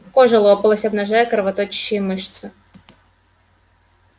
кожа лопалась обнажая кровоточащие мышцы